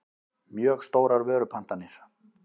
mjög stórar vörupantanir.